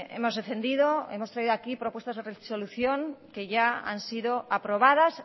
hemos defendido y hemos traído aquí propuestas de resolución que ya han sido aprobadas